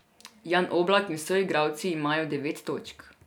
Jan Oblak in soigralci imajo devet točk.